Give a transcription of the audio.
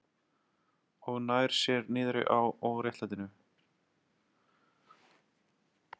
Og nær sér niðri á óréttlætinu.